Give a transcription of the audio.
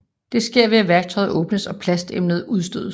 Det sker ved at værktøjet åbnes og plastemnet udstødes